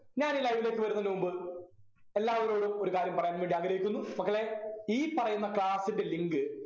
ഞാൻ ഈ live ലേക്ക് വരുന്നതിനു മുൻപ് എല്ലാവരോടും ഒരു കാര്യം പറയാൻ വേണ്ടി ആഗ്രഹിക്കുന്നു മക്കളെ ഈ പറയുന്ന class ൻ്റെ link